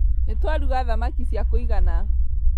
Nĩtwaruga thamaki cia kũigana